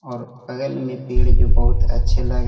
और बगल मे पेड़ जो बहुत अच्छे लग--